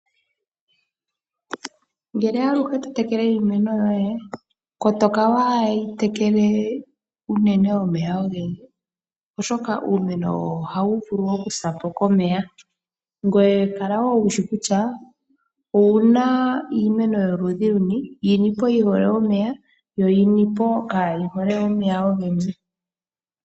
Aluhe ngele totekwle iimeno yoye kotoka waayitekele omeya ogendji oshoka uumeno ohawu vulu okusa komeya, ngoye kala wushi kutya owuna iimeno yoludhi luni. Yinipo yihole omeya naambyoka kayihole omeya ogendji.